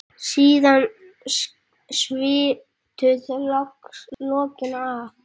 Síðan sviptu þau lokinu af.